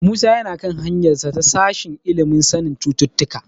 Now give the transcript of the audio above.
Musa yana kan hanyarsa ta sashen ilimin sanin cututtuka.